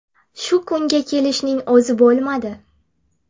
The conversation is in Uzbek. Shu kunga kelishning o‘zi bo‘lmadi.